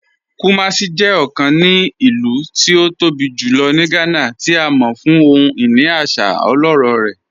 Kumàsì jẹ́ ọ̀kàn ní ilù tí ó tó bí julọ̀ ní Gànà, tí a mọ̀ fún ohun-iní àṣà ọlọ́rọ̀ rẹ̀.